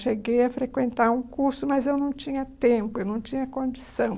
Cheguei a frequentar um curso, mas eu não tinha tempo, eu não tinha condição.